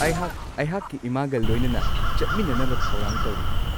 ꯑꯩꯍꯥꯛ ꯑꯩꯍꯥꯛꯀꯤ ꯏꯃꯥꯒ ꯂꯣꯏꯅꯅ ꯆꯠꯃꯤꯟꯅꯅꯕ ꯊꯧꯔꯥꯡ ꯇꯧꯔꯤ꯫